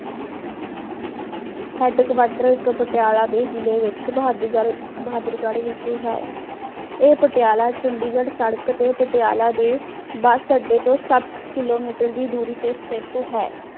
headquarter ਇਕ ਪਟਿਆਲਾ ਦੇ ਜਿਲੇ ਵਿਚ ਬਹਾਦੁਰਗੜ ਬਹਾਦੁਰਗੜ ਵਿਖੇ ਹੈ। ਇਹ ਪਟਿਆਲਾ, ਚੰਡੀਗੜ੍ਹ ਸੜਕ ਤੇ ਪਟਿਆਲਾ ਦੇ ਬਸ ਅੱਡੇ ਤੋਂ ਸੱਤ kilometer ਦੀ ਦੂਰੀ ਤੇ ਸਥਿਤ ਹੈ।